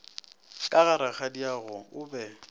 ka ga rakgadiago o be